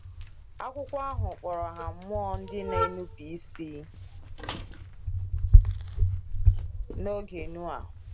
Akwụkwọ ahụ kpọrọ ha mmụọ ndị na-enupụ isi “n’oge Noah.”